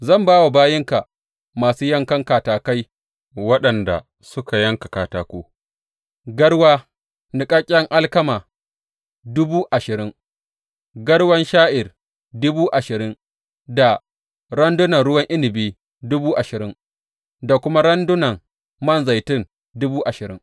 Zan ba wa bayinka masu yankan katakai waɗanda suka yanka katako, garwa niƙaƙƙen alkama dubu ashirin, garwan sha’ir dubu ashirin da randunan ruwan inabi dubu ashirin da kuma randunan man zaitun dubu ashirin.